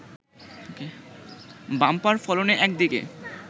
bumper ফলনে একদিকে